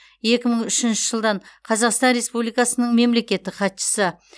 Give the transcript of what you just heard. екі мың үшінші жылдан қазақстан республикасының мемлекеттік хатшысы